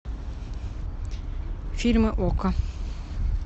фильмы окко